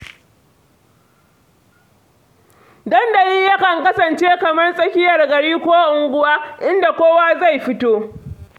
Dandali yakan kasance kamar tsakiyar gari ko unguwa, inda kowa zai fito.